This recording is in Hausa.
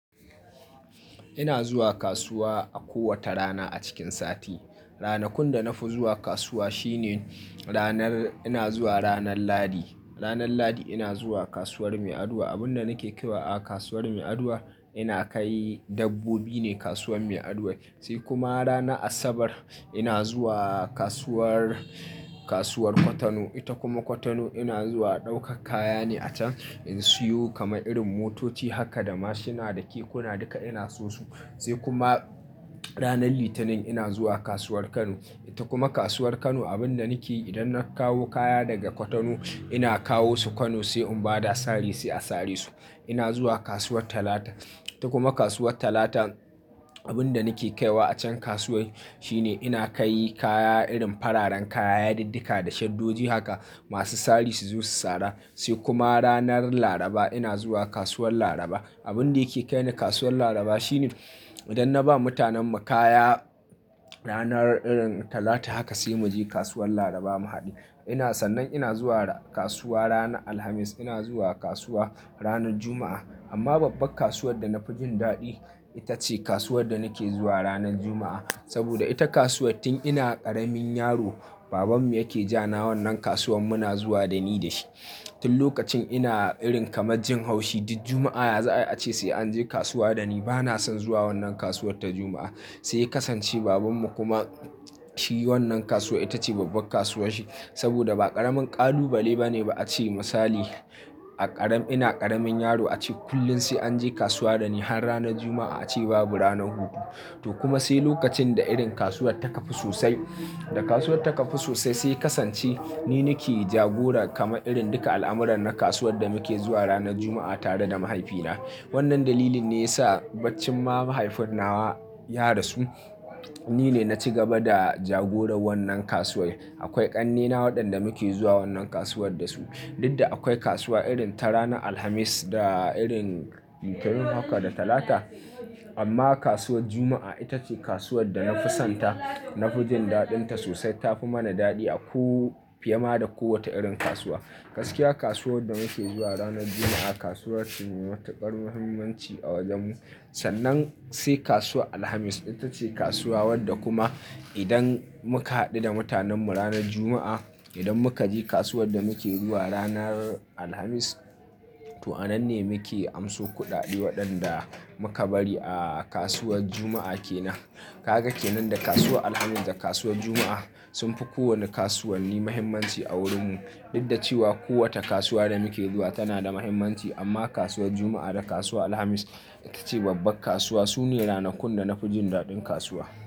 Ina zuwa kasuwa a kowace rana a cikin sati. Ranakun da na fi zuwa kasuwa shine ranar, ina zuwa ranar Lahdi. Ranar Lahdi ina zuwa kasuwar Meadua. Abunda nake kewa a kasuwar Meadua, ina kai dabbobi ne kasuwan Meaduai. Sai kuma rana asabar ina zuwa kasuwar, kasuwar kwatano. Ita kuma kwatano ina zuwa ɗaukar kaya ne a can. In siyo kama irin motoci haka, da mashina da kekuna duka ina siyo su. Sai kuma ranar litinin ina zuwa kasuwar Kano. Ita kuma kasuwar Kano abunda nake yi idan na kawo kaya daga kwatano ina kawo su Kano sai in bada sari sai a sari su. Ina zuwa kasuwar talata. Kuma kasuwar talata abunda nake kaiwa a can kasuwar shine ina kai kaya irin fararen kaya, yadiddika da shaddoji haka masu sari su zo su sara. Sai kuma ranar laraba ina zuwa kasuwar laraba. Abunda yake kai ni kasuwar laraba shine Ita kuma kwatano ina zuwa ɗaukar kaya ne a can. In siyo kama irin motoci haka, da mashina da kekuna duka ina siyo su. Ita kuma kasuwar Kano abunda nake yi idan na kawo kaya daga kwatano ina kawo su Kano sai in bada sari sai a sari su. Kuma kasuwar talata abunda nake kaiwa a can kasuwar shine ina kai kaya irin fararen kaya, yadiddika da shaddoji haka masu sari su zo su sara. Sai kuma ranar laraba ina zuwa kasuwar laraba. Amma babbar kasuwar da na fi jin daɗi ita ce kasuwar da nake zuwa ranar juma'a. Saboda ita kasuwa tun ina ƙaramin yaro baban mu yake ja na wannan kasuwan muna zuwa da ni da shi. Tun lokacin ina irin kama jin haushi duk juma'a ya za a ce sai an je kasuwa da ni. Bana son zuwa wannan kasuwar ta juma'a. Sai kasance baban mu kuma shi wannan kasuwa ita ce babbar kasuwar shi. Saboda ba ƙaramin ƙalubale ba ne a ce misali a ƙarar, ina ƙaramin yaro a ce kullum sai an je kasuwa da ni har ranar juma'a a ce babu ranar hutu. To kuma sai lokacin da irin kasuwar ta kafu sosai, da kasuwar ta kafu sosai sai kasance ni nake jagora kama irin duka al'amuran na kasuwar da muke zuwa ranar juma'a tare da mahaifina. Wannan dalilin ne ya sa baicin ma mahaifinawa ya rasu ni ne na ci gaba da jagoran wannan kasuwar. Akwai ƙannena waɗanda muke zuwa wannan kasuwar da su. Dudda akwai kasuwa irin ta rana Alhamis da irin Litinin haka da Talata. Amma kasuwar juma'a ita ce kasuwar da na fi son ta, na fi jin daɗin ta sosai. Ta fi mana daɗi a ko fiye ma da kowace irin kasuwa. Gaskiya kasuwar da muke zuwa ranar juma'a kasuwar ce mai matuƙar muhimmanci a wajen mu. Sannan sai kasuwar alhamis ita ce kasuwa wadda kuma idan muka haɗu da mutanen mu ranar juma'a, idan muka je kasuwar da muke zuwa ranar alhamis, to anan ne muke amso kuɗaɗe waɗanda muka bari a kasuwar juma'a kenan. Kaga kenan da kasuwar alhamis da kasuwar juma'a sun fi kowane kasuwanni muhimmanci a wurin mu. Dudda cewa kowace kasuwa da muke zuwa tana da muhimmanci amma kasuwar juma'a da kasuwar alhamis ita ce babbar kasuwa. Su ne ranakun da na fi jin daɗin kasuwa.